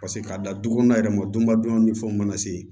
Paseke k'a da du kɔnɔna yɛrɛ ma don badenw ni fɛnw mana se